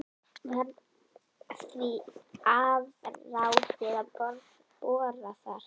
Var því afráðið að bora þar.